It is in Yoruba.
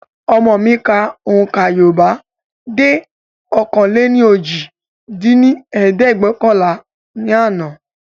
Ọmọ mi ka ohùnkà Yorùbá dé ọ̀kan-lé-ní-ojì dín ní ẹ̀ẹ́dẹ́gbẹ́ọ̀kànlá ní àná